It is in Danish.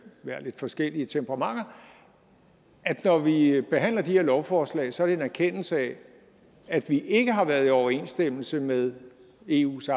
lidt forskelligt temperament at når vi behandler de her lovforslag så i en erkendelse af at vi ikke har været i overensstemmelse med eus